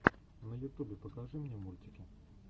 на ютубе покажи мне мультики